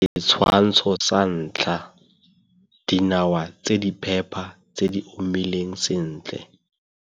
Setshwantsho sa 1 - Dinawa tse di phepa tse di omileng sentle.